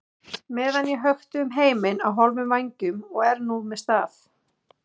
meðan ég hökti um heiminn á hálfum vængjum og er núna með staf.